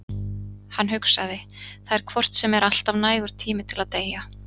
Hann hugsaði: Það er hvort sem er alltaf nægur tími til að deyja.